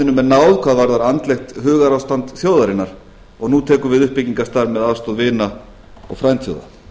er náð hvað varðar andlegt hugarástand þjóðarinnar og nú tekur við uppbyggingarstarf með aðstoð vina og frændþjóða